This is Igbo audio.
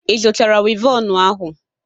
Ị zụtara wivọnụ ahụ?